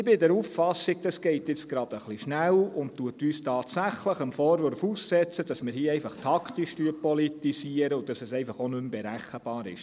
Ich bin der Auffassung, dass dies jetzt gerade etwas schnell geht, dass uns dies tatsächlich dem Vorwurf aussetzt, dass wir hier einfach taktisch politisieren, und dass es einfach auch nicht mehr berechenbar ist.